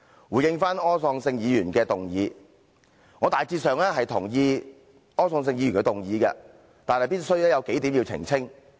回應柯創盛議員的議案，我大致上贊同柯創盛議員的議案，但有數點必須澄清。